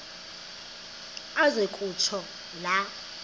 aze kutsho la